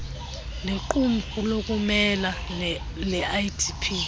nequmrhu lokumela leidp